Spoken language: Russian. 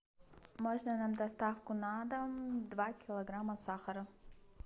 можно нам доставку на дом два килограмма сахара